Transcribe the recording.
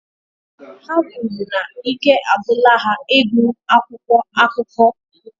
Ha kwuru na ike agwụla ha ịgụ akwụkwọ akụkọ